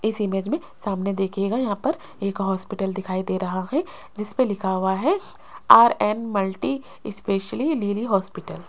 इस इमेज में सामने देखिएगा यहां पर एक हॉस्पिटल दिखाई दे रहा है जिसपे लिखा हुआ है आर_एन मल्टी स्पेशलिटी लीलि हॉस्पिटल --